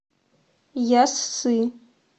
яссы